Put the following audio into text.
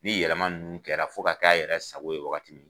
Ni yɛlɛma nunnu kɛra fo ka k'a yɛrɛ sago ye waagati min.